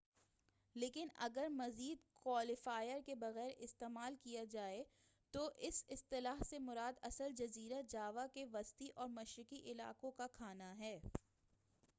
لیکن اگر مزید کوالیفائر کے بغیر استعمال کیا جائے تو اس اصطلاح سے مراد اصل جزیرہ جاوا کے وسطی اور مشرقی علاقوں کا کھانا ہے